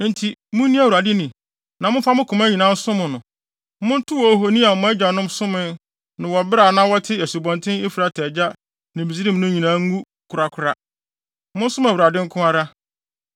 “Enti munni Awurade ni, na momfa mo koma nyinaa nsom no. Montow ahoni a mo agyanom somee no wɔ bere a na wɔte Asubɔnten Efrate agya ne Misraim no nyinaa ngu korakora. Monsom Awurade nko ara.